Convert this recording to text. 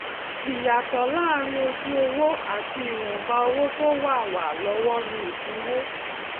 ìyàtò láàárín ojú owó àti ìwọnba owó tó wà wà lówó ni ìdínwó